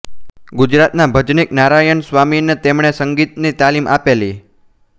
ગુજરાતના ભજનીક નારાયણ સ્વામીને તેમણે સંગીતની તાલીમ આપેલી